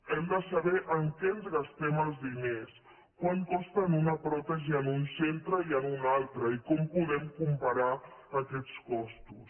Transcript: hem de saber en què ens gastem els diners quant costa una pròtesi en un centre i en un altre i com podem comparar aquests costos